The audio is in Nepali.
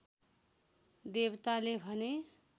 देवताले भने